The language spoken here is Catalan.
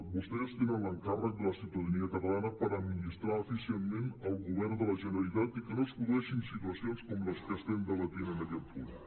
vostès tenen l’encàrrec de la ciutadania catalana per admi·nistrar eficientment el govern de la generalitat i que no es produeixin situacions com les que estem debatent en aquest punt